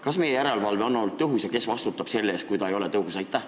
Kas meie järelevalve on olnud tõhus ja kes vastutab selle eest, kui ta ei ole tõhus?